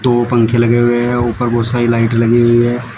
दो पंखे लगे हुए हैं ऊपर बहुत सारी लाइट लगी हुई है।